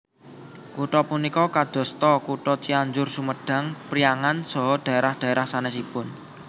Kutha punika kadosta kutha Cianjur Sumedang Priangan saha dhaerah dhaerah sanesipun